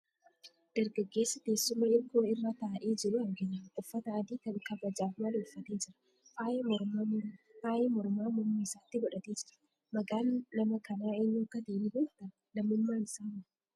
Dargaggeessa teessuma hirkoo irra taa'ee jiru argina. Uffata adii kan kabajaaf malu uffatee jira. Faaya mormaa morma isaatti godhatee jira. Maqaan nama kanaa eenyu akka ta'e ni beektaa? Lammummaan isaa hoo?